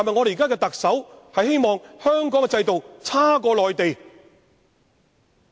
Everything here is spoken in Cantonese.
現任特首是否希望香港的制度差於內地？